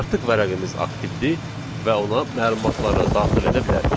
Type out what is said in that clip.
Artıq vərəqimiz aktivdir və ona məlumatları daxil edə bilərik.